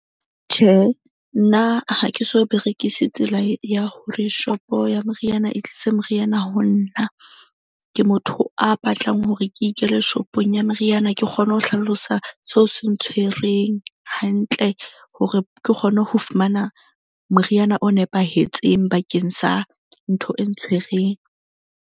Tjhe, nna ha ke so berekise tsela ya hore shop-o ya moriana, e tlise moriana ho nna. Ke motho a batlang hore ke ikele shop-ong ya meriana ke kgone ho hlalosa seo se ntshwereng hantle. Hore ke kgone ho fumana moriana o nepahetseng bakeng sa ntho e ntshwereng.